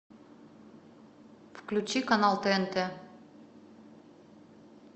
включи канал тнт